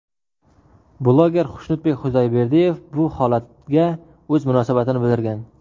Bloger Xushnudbek Xudoyberdiyev bu holatga o‘z munosabatini bildirgan.